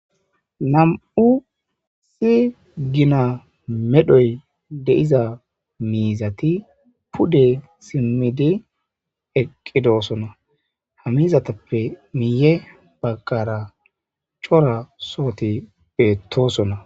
nam7u si gina medhoy deiza miizati pude simmidi eqqidoosona hamizatappe miiye baggara cora sooti beettoosona